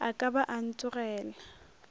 a ka ba a ntogela